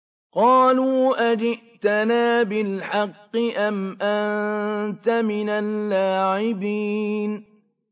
قَالُوا أَجِئْتَنَا بِالْحَقِّ أَمْ أَنتَ مِنَ اللَّاعِبِينَ